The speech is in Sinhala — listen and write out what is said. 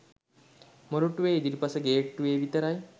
මොරටුවේ ඉදිරිපස ගේට්ටුවේ විතරයි